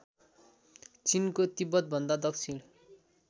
चिनको तिब्बतभन्दा दक्षिण